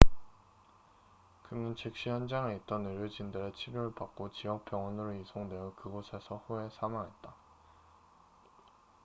그는 즉시 현장에 있던 의료진들의 치료를 받고 지역 병원으로 이송되어 그곳에서 후에 사망했다